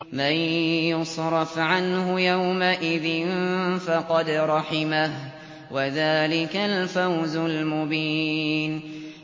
مَّن يُصْرَفْ عَنْهُ يَوْمَئِذٍ فَقَدْ رَحِمَهُ ۚ وَذَٰلِكَ الْفَوْزُ الْمُبِينُ